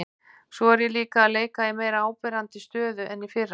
Svo er ég líka að leika í meira áberandi stöðu en í fyrra.